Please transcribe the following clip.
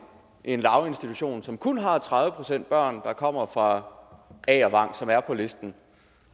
en daginstitution som kun har tredive procent børn der kommer fra agervang som er på listen